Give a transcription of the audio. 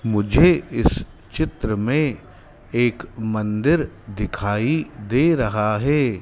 मुझे इस चित्र में एक मंदिर दिखाई दे रहा है।